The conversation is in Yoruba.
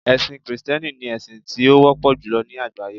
ẹsìn Kristẹni ni esin ti o wọpọ julọ ni àgbáyé